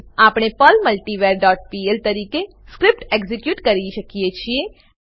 આપણે Perl multivar dot PL તરીકે script execute કરી શકીએ છીએ